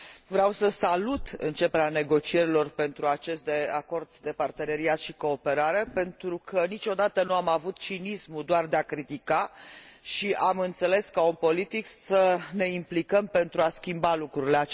Vreau să salut începerea negocierilor pentru acest acord de parteneriat și cooperare, pentru că niciodată nu an avut cinismul doar de a critica, ci am înțeles, ca om politic, să ne implicăm pentru a schimba lucrurile.